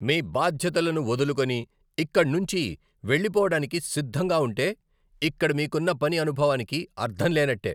మీ బాధ్యతలను వదులుకుని ఇక్కడనుంచి వెళ్లిపోవడానికి సిద్ధంగా ఉంటే, ఇక్కడ మీకున్న పని అనుభవానికి అర్ధం లేనట్టే.